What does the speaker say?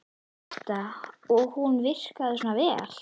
Birta: Og hún virkar svona vel?